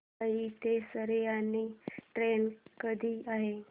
मुंबई ते रसायनी ट्रेन कधी आहे